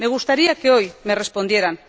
Me gustaría que hoy me respondieran.